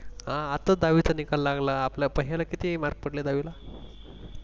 अह आता दहावीचा निकाल लागला आपल्या किती Mark पडले दहावीला?